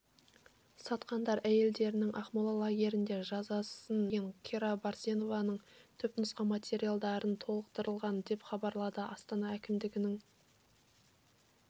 сатқандар әйелдерінің ақмола лагерінде жазасын өтеген кира берсеневаның түпнұсқа материалдарымен толықтырылды деп хабарлады астана әкімдігінің